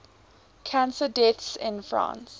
cancer deaths in france